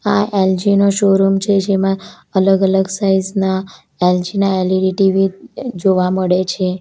આ એલજી નો શોરૂમ છે જેમાં અલગ-અલગ સાઈઝ ના એલ_જી ના એ_લી_ડી ટી_વી જોવા મળે છે.